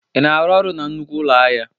Ị na-arụ ọrụ na nnukwu ụlọ ahịa?